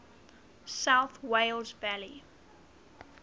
south wales valleys